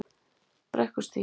Brekkustíg